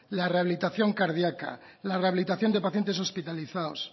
la rehabilitación cardíaca la rehabilitación de pacientes hospitalizados